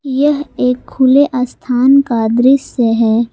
यह एक खुले स्थान का दृश्य है।